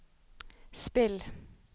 spill